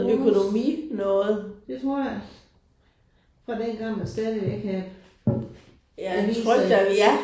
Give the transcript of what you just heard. Walls det tror jeg. Fra dengang man stadigvæk havde aviser